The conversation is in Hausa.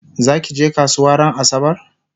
zakije kasuwa ran asabar?